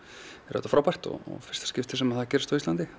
auðvitað frábært fyrsta sinn sem það gerist á Íslandi